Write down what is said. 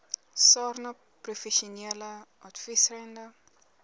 sarnap professionele adviserende